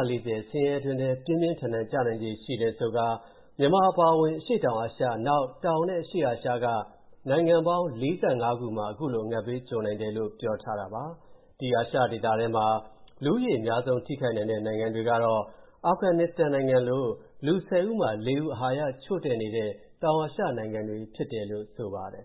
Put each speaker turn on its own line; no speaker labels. ၁၄၀ ဆင်းရဲတွင်းထဲပြင်းပြင်းထန်ထန်ကျနိုင်ခြေ ရှိတယ်ဆိုခါ မြန်မာအပါအဝင် အရှေ့တောင်အာရှ၊ နောက် တောင်နဲ့အရှေ့အာရှက နိုင်ငံပေါင်း ၄၅ ခုမှာ ခုလို အငတ်ဘေးကြုံနိုင်တယ်လို့ ပြောထားတာပါ။ ဒီအာရှဒေသထဲမှာမှ လူဦးရေအများဆုံး ထိခိုက်နိုင်တဲ့ နိုင်ငံတွေကတော့ အာဖဂန်နစ္စတန်နိုင်ငံလို လူ ၁၀ ဦးမှာ ၄ ဦး အာဟာရချို့တဲ့နေတဲ့ တောင်အာရှနိုင်ငံတွေဖြစ်တယ်လို့ ဆိုပါတယ်